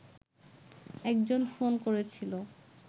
একজন ফোন করেছিল